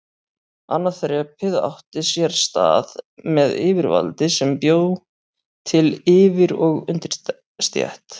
Annað þrepið átti sér stað með yfirvaldi sem bjó til yfir- og undirstétt.